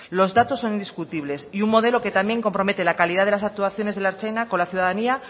los datos son indiscutibles y un modelo que también compromete la calidad de las actuaciones de la ertzaina con la ciudadanía